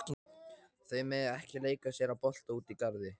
Þau mega ekki leika sér að bolta úti í garði.